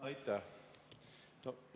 Aitäh!